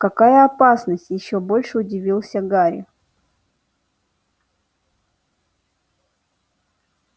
какая опасность ещё больше удивился гарри